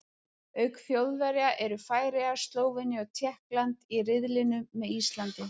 Auk Þjóðverja eru Færeyjar, Slóvenía og Tékkland í riðlinum með Íslandi.